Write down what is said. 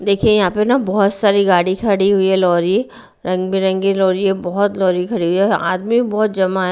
देखिए यहाँ पे ना बहुत सारी गाड़ी खड़ी हुई है रंग बिरंगी और बहुत खड़ी हुई है आदमी बहुत जमा है।